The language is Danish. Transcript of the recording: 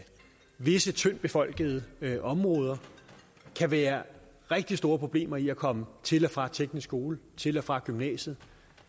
visse tyndtbefolkede områder kan være rigtig store problemer i at komme til og fra teknisk skole til og fra gymnasiet